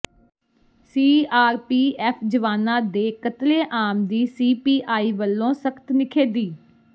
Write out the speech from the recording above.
ਸੀ R P F ਜਵਾਨਾਂ ਦੇ ਕਤਲੇਆਮ ਦੀ ਸੀ ਪੀ ਆਈ ਵੱਲੋਂ ਸਖਤ ਨਿਖੇਧੀ